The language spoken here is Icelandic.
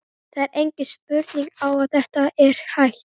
Það er engin spurning að þetta er hægt.